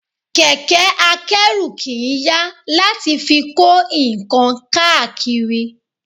Kẹ̀kẹ́ a kẹ́rù kì í yà láti fi kó nǹkan káàkiri